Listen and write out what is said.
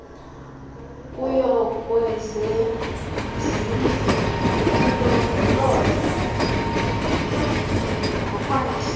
kuyokwezezindli nakulondolozo nokwakhiwa